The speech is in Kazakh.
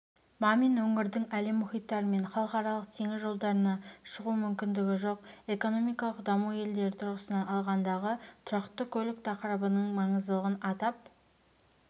мамин өңірдің әлем мұхиттары мен халықаралық теңіз жолдарына шығу мүмкіндігі жоқ экономикалық даму елдері тұрғысынан алғандағы тұрақты көлік тақырыбының маңыздылығын атап